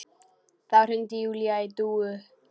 Þá hringir Júlía í Dúu.